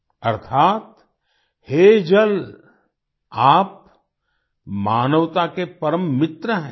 अर्थात् हे जल आप मानवता के परम मित्र हैं